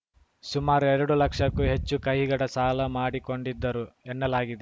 ಸುಮಾರು ಎರಡು ಲಕ್ಷಕ್ಕೂ ಹೆಚ್ಚು ಕೈಗಡ ಸಾಲ ಮಾಡಿಕೊಂಡಿದ್ದರು ಎನ್ನಲಾಗಿದೆ